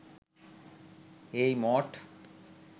এই মঠ